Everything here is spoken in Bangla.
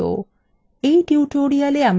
in tutorial আমরা শিখব: